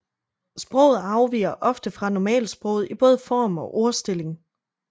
Sproget afviger ofte fra normalsproget i både form og ordstilling